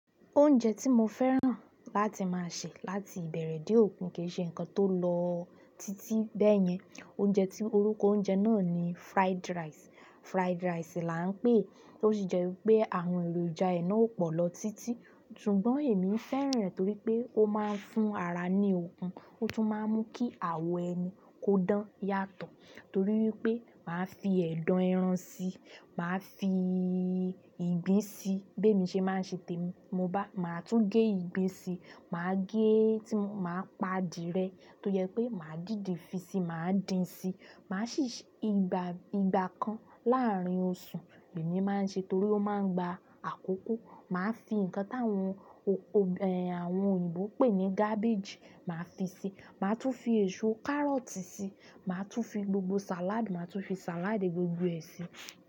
Oúnjẹ tí mo fẹ́ràn láti máa sè láti ìbẹ̀rẹ̀ dé òpin kì í ṣe ǹkan tó lọ títí bẹ́ẹ̀yẹn. Oúnjẹ tí orúkọ oúnjẹ náà ni fried rice. Fried rice là ń pè é, tó sì jẹ́ wipé àwọn èròjà ẹ náà ó pọ̀ lọ títí. Ṣùgbọ́n emi fẹ́ràn rẹ torí pe o ma nfun ara ni okun, o tun maa mu ki awọ ẹni ko dan yàtọ̀ torí wi pé máa fi ẹ̀dọ̀ ẹran síi, màá fi ìgbín síi. Bí èmi ṣe máa ń ṣe témi, mo bá, màá tún gé ìgbín síi, màá gé tí máa pa adìyẹ tó jẹ pé màá dìidi fí síí, màá dín si, màá sì, ìgbà kan láàárín oṣù lèmi máa ń ṣe torí ó máa ń gba àkókó. Màá fi ǹkan táwọn, àwọn òyìnbó n pè ní garbage, màá fi si, màá tún fi èso kárọ̀tì si, màá tún fi gbogbo salad, màá tún fi salad gbogbo ẹ si.